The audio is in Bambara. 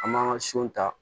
An m'an ka son ta